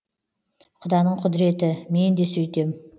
құданың құдіреті мен де сөйтем